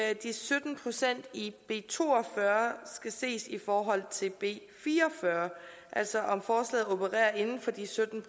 de sytten procent i b to og fyrre ses i forhold til b 44 altså opererer forslaget inden for de sytten